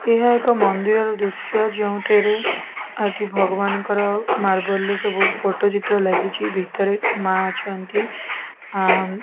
ଏହା ଏକ ମନ୍ଦିରର ଦୃଶ୍ୟ ଯେଉଁଥିରେ ଆଦି ଭଗବାନଙ୍କର ମାର୍ବଲ ରେ ସବୁ ଫଟୋ ଚିତ୍ର ଲାଗିଛି ଭିତରେ ମା ଅଛନ୍ତି ଆ --